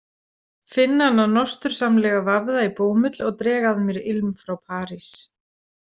Finn hana nostursamlega vafða í bómull og dreg að mér ilm frá París.